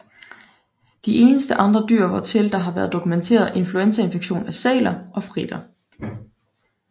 De eneste andre dyr hvortil der har været dokumenteret influenzainfektion er sæler og fritter